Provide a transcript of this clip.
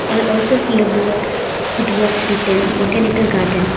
here also see a board with words written botanical garden.